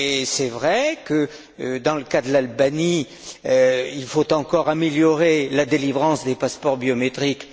C'est vrai que dans le cas de l'Albanie, il faut encore améliorer la délivrance des passeports biométriques.